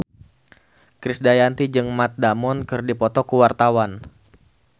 Krisdayanti jeung Matt Damon keur dipoto ku wartawan